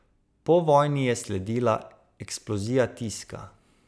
Po vojni je sledila eksplozija tiska.